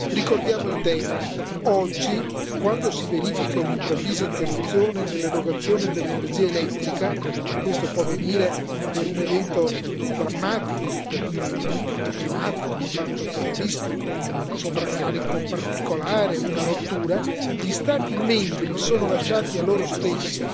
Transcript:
Ricordiamo il tema oggi, quando si verifica un'improvvisa interruzione nell'erogazione dell'energia elettrica e questo può avvenire per un evento drammatico, un fatto climatico, un fatto terroristico, un sovraccarico particolare, una rottura gli Stati membri sono lasciati a loro stessi